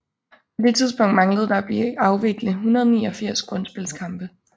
På det tidspunkt manglede der at blive afvikle 189 grundspilskampe